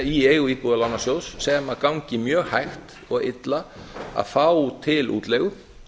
í eigu íbúðalánasjóðs sem gangi mjög hægt og illa að fá til útleigu